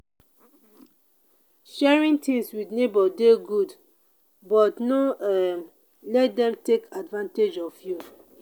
sharing things with neighbor dey good but no um let dem take advantage of you.